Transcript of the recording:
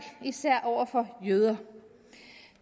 især over for jøder